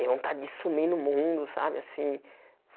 E vontade de sumir no mundo, sabe assim?